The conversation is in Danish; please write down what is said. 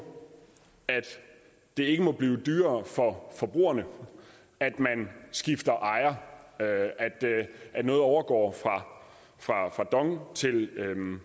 at det ikke må blive dyrere for forbrugerne at man skifter ejer at noget overgår fra dong til